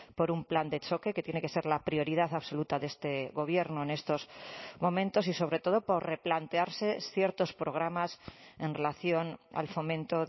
por un plan de choque que tiene que ser la prioridad absoluta de este gobierno en estos momentos y sobre todo por replantearse ciertos programas en relación al fomento